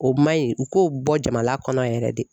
O maɲi u k'o bɔ jamana kɔnɔ yɛrɛ de.